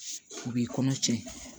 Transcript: U b'i kɔnɔ cɛn